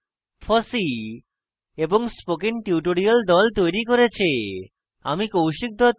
এই script fossee এবং spoken tutorial the তৈরী করেছে